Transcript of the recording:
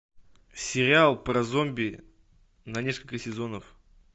сериал про зомби на несколько сезонов